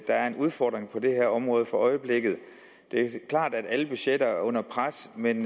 er en udfordring på det her område for øjeblikket det er klart at alle budgetter er under pres men